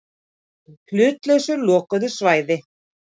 Á hlutlausu lokuðu svæði.